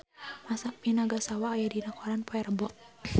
Masami Nagasawa aya dina koran poe Rebo